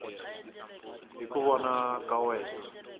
hi ku vona ka wena